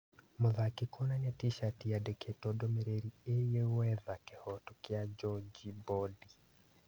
Mũthaki kuonania tishati yandĩkĩtwo ndũmĩrĩri ĩgiĩ gwetha kihoto kĩa Njonji Bodi.